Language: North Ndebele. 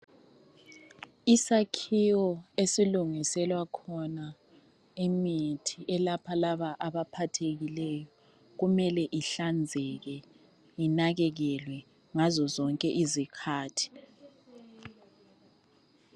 Isakhiwo esilungiselwa khona imithi elapha laba abaphathekileyo kumele ihlanzeke inakekelwe ngazo zonke izikhathi.